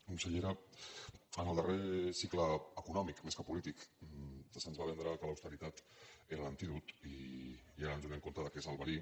consellera en el darrer cicle econòmic més que polític se’ns va vendre que l’austeritat era l’antídot i ara ens adonem que és el verí